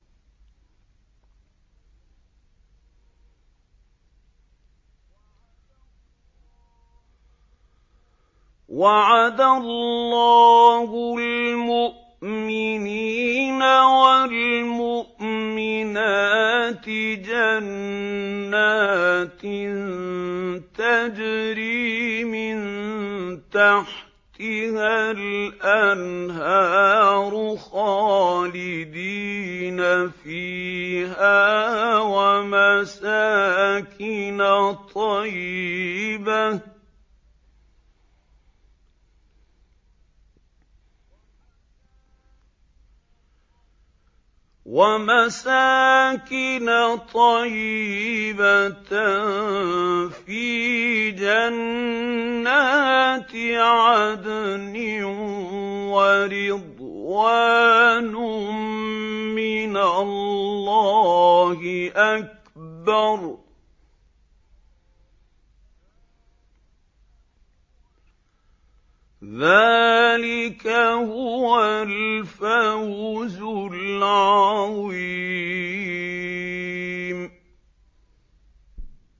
وَعَدَ اللَّهُ الْمُؤْمِنِينَ وَالْمُؤْمِنَاتِ جَنَّاتٍ تَجْرِي مِن تَحْتِهَا الْأَنْهَارُ خَالِدِينَ فِيهَا وَمَسَاكِنَ طَيِّبَةً فِي جَنَّاتِ عَدْنٍ ۚ وَرِضْوَانٌ مِّنَ اللَّهِ أَكْبَرُ ۚ ذَٰلِكَ هُوَ الْفَوْزُ الْعَظِيمُ